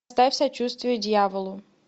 ставь сочувствие дьяволу